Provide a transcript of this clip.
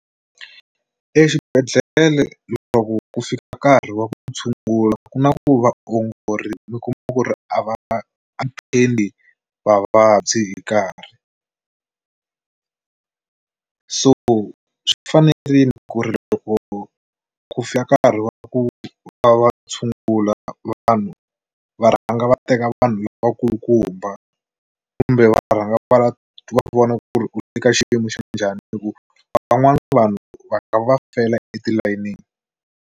Exibedhlle leswaku ku fika nkarhi wa ku tshungula ku na ku vaongori mi kuma ku ri a va athendi vavabyi hi nkarhi, so swi fanerile ku ri loko ku fika nkarhi wa ku va va tshungula vanhu va rhanga va teka vanhu lavakulukumba kumbe va rhanga va vona ku ri u teka xiyimo xa njhani hi ku van'wana vanhu va nga va fela etilayenini.